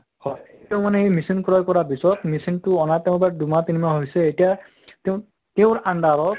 হয় তেওঁ মানে machine ক্ৰয় কৰাৰ পিছত, machine টো অনা তেওঁ বা-উ দুমাহ তিনি মাহ হৈছে এতিয়া তেওঁ তেওঁৰ under ত